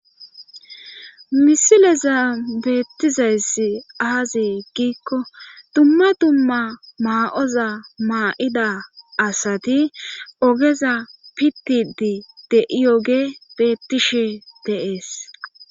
Misileza beettizayssi aazi giikko dumma dumma maa,oza maa,ida asati ogeza pittidi de,iyoge beettishe deees.